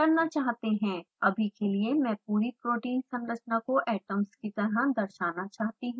अभी के लिए मैं पूरी protein संरचना को atoms की तरह दर्शाना चाहती हूँ